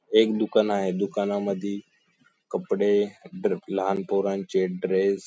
एक दुकान आहे दुकानांमधी कपडे ड्रे लहान पोरांचे ड्रेस --